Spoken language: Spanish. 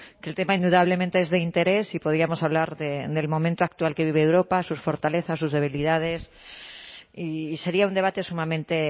que el tema indudablemente es de interés y podríamos hablar del momento actual que vive europa sus fortalezas sus debilidades y sería un debate sumamente